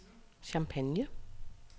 Champagne